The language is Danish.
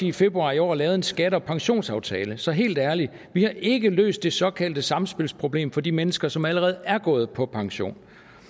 i februar i år lavede en skatte og pensionsaftale så helt ærligt vi har ikke løst det såkaldte samspilsproblem for de mennesker som allerede er gået på pension